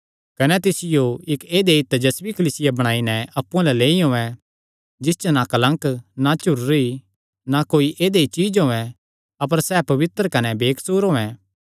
कने तिसियो इक्क ऐदई तेजस्वी कलीसिया बणाई नैं अप्पु अल्ल लेई औयें जिसा च ना कलंक ना झुर्री ना कोई ऐदई चीज्ज होयैं अपर सैह़ पवित्र कने बेकसूर होयैं